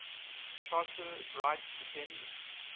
charter rights depend